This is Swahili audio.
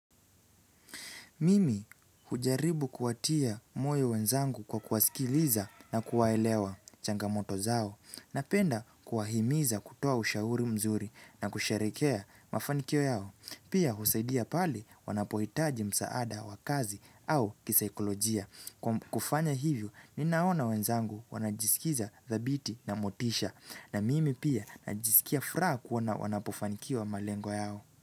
Mimi hujaribu kuwatia moyo wenzangu kwa kuwasikiliza na kuwaelewa, changamoto zao, napenda kuwahimiza kutoa ushauri mzuri na kusherehekea mafanikio yao. Pia husaidia pale wanapohitaji msaada wa kazi au kisaikolojia. Kufanya hivyo, ninaona wenzangu wanajisikiza thabiti na motisha na mimi pia najisikia furaha kuona wanapofanikiwa malengo yao.